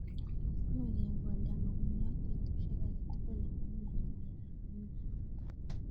Much kekolda mugongiot petushek agetugul amu mang'emei kemeut